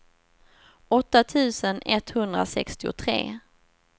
åtta tusen etthundrasextiotre